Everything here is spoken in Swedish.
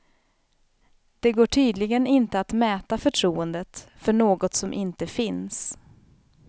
Det går tydligen inte att mäta förtroendet för något som inte finns.